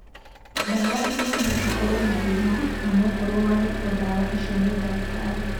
Ndawa imwe no cikorwo na thĩna onokorwo wahetwo ndawa icio nĩ ndagĩtarĩ.